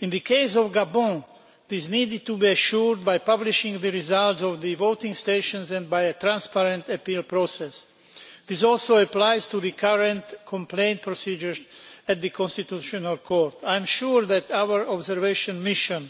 In the case of Gabon, this needed to be ensured by publishing the results of the voting stations and by a transparent appeal process. This also applies to the current complaint procedures at the constitutional court. I am sure that our observation mission,